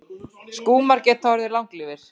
Skúmar geta orðið langlífir.